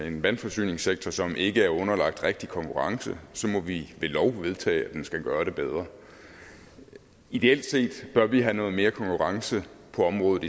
en vandforsyningssektor som ikke er underlagt rigtig konkurrence så må vi ved lov vedtage at den skal gøre det bedre ideelt set bør vi i stedet have noget mere konkurrence på området